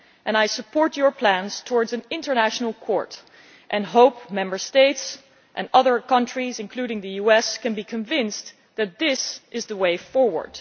I support your plans for an international court and hope the Member States and other countries, including the US, can be convinced that this is the way forward.